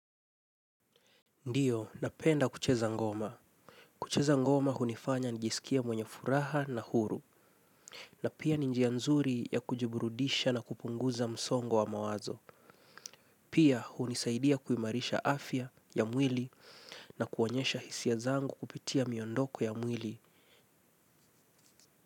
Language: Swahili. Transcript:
Ndio, napenda kucheza ngoma. Kucheza ngoma hunifanya nijisikie mwenye furaha na huru, na pia ni njia nzuri ya kujiburudisha na kupunguza msongo wa mawazo. Pia hunisaidia kuimarisha afya ya mwili na kuonyesha hisia zangu kupitia miondoko ya mwili.